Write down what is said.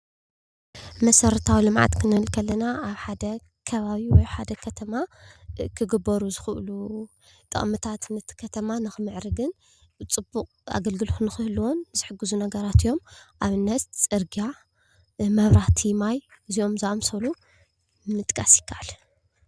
መሰረታዊ ልምዓት ክንብል ከለና ኣብ ሓደ ከባቢ ወይ ኣብ ሓደ ከተማ ክግበሩ ዝክእሉ ጥቅምታት ነቲ ከተማ ንክምዕርግን ፅቡቅ ኣገልግልት ንክህልዎን ዝሕግዙ ነገራት እዮም፡፡ ኣብነት ፅርግያ፣ መብራህቲ፣ ማይ እዚኦም ዝምሳሰሉ ምጥቃስ ይከኣል፡፡